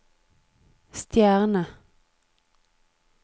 stjerne